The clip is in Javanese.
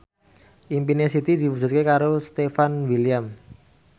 impine Siti diwujudke karo Stefan William